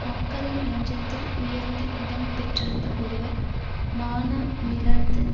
மக்களின் நெஞ்சத்தில் உயர்ந்த இடம் பெற்றிருந்த ஒருவர் மானமிழந்து